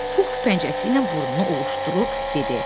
Pux pəncəsi ilə burnunu ovuuşdurub dedi.